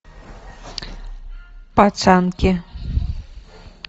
пацанки